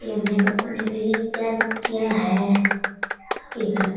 क्या क्या है इसके घर में --